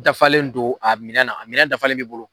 Dafalen don a minɛn na a minɛn dafalen b'i bolo